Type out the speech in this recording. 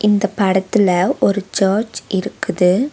இந்த படத்துல ஒரு சர்ச் இருக்குது.